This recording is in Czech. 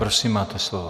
Prosím, máte slovo.